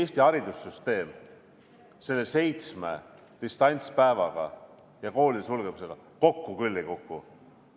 Eesti haridussüsteem selle seitsme distantspäevaga ja koolide sulgemisega kokku küll ei kuku.